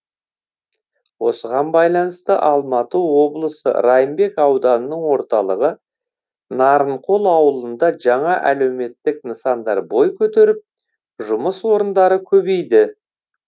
осыған байланысты алматы облысы райымбек ауданының орталығы нарынқол ауылында жаңа әлеуметтік нысандар бой көтеріп жұмыс орындары көбейді